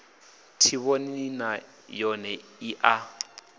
tshivhonini nay one i a